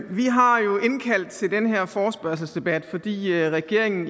vi har jo indkaldt til den her forespørgselsdebat fordi regeringen